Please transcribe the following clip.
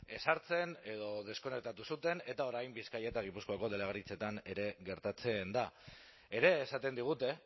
ezartzen edo deskonektatu zuten eta orain bizkaia eta gipuzkoako delegaritzetan ere gertatzen da ere esaten digute